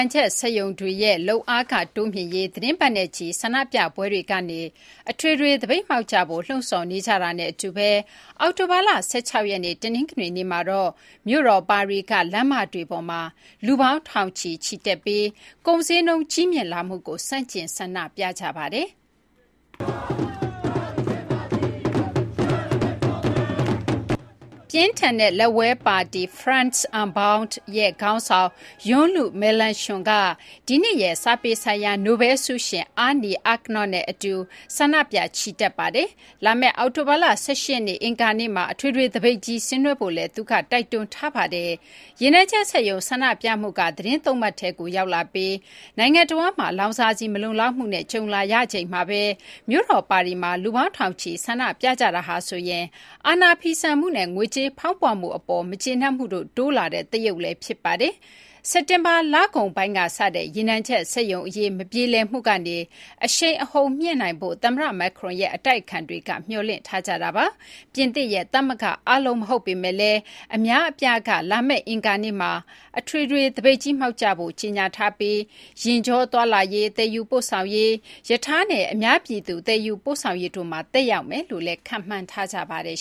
ံချက် စက်ရုံတွေရဲ့ လုပ်အားခ တိုးမြှင့်ရေး သတင်းပတ်နဲ့ချီ ဆန္ဒပြပွဲတွေကနေ အထွေထွေ သပိတ်မှောက်ကြဖို့ လှုံ့ဆော်နေကြတာနဲ့ အတူ အောက်တိုဘာလ ၁၆ ရက်နေ့ တနင်္ဂနွေနေ့မှာတော့ မြို့တော် ပါရီက လမ်းမတွေပေါ်မှာ လူပေါင်း ထောင်ချီ ချီတက်ပြီး ကုန်ဈေးနှုန်း ကြီးမြင့်လာမှုကို ဆန့်ကျင် ဆန္ဒပြခဲ့ကြပါတယ်။ ပြင်းထန်တဲ့ လက်ဝဲ ပါတီ France Unbowed (LFI) ရဲ့ ခေါင်းဆောင် Jean-Luc Melenchon က ဒီနှစ်ရဲ့ စာပေ ဆိုင်ရာ နိုဘဲလ် ဆုရှင် Annie Ernaux နဲ့ အတူ ဆန္ဒပြ ချီတက်ခဲ့ပါတယ်။ လာမယ့် အောက်တိုဘာလ ၁၈ ရက်နေ့ အင်္ဂါနေ့မှာ အထွေထွေ သပိတ်ကြီး ဆင်နွှဲဖို့လည်း သူက တိုက်တွန်းထားပါတယ်။ ရေနံချက် စက်ရုံ ဆန္ဒပြမှုက သီတင်း ၃ ပတ်ထဲကို ရောက်လာပြီး နိုင်ငံတဝန်းမှာ လောင်စာဆီ မလုံလောက်မှုနဲ့ ကြုံလာရချိန်မှာဘဲ မြို့တော် ပါရီမှာ လူပေါင်း ထောင်ချီ ဆန္ဒပြကြတာဟာဆိုရင် အာဏာဖီဆန်မှုနဲ့ ငွေကြေးဖောင်းပွမှု အပေါ် မကျေနပ်မှုတို့ တိုးလာတဲ့ သရုပ်လည်း ဖြစ်ပါတယ်။ စက်တင်ဘာ လကုန်ပိုင်းက စတဲ့ ရေနံချက် စက်ရုံ အရေး မပြေလည်မှုကနေ အရှိန်အဟုန် မြှင့်နိုင်ဖို့ သမ္မတ Macron ရဲ့ အတိုက်အခံတွေက မျှော်လင့်ထားကြတာပါ။ ပြင်သစ်ရဲ့ သမဂ္ဂ အားလုံး မဟုတ်ပေမယ့်လည်း အများအပြားက လာမယ့် အင်္ဂါနေ့မှာ အထွေထွေ သပိတ်ကြီးမှောက်ကြဖို့ ကြေညာထားပြီး ယာဉ်ကြော သွားလာရေး၊ သယ်ယူပို့ဆောင်ရေး၊ ရထားနဲ့ အများပြည်သူ သယ်ယူပို့ဆောင်ရေးတို့မှာ သက်ရောက်မယ်လို့လည်း ခန့်မှန်းထားကြပါတယ်